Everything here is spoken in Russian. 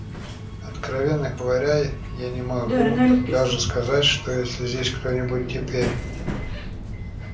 откровенно говоря я не могу даже сказать что есть ли здесь кто-нибудь теперь